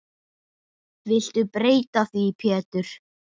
Viltu breyta því Pétur.